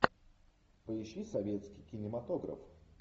поищи советский кинематограф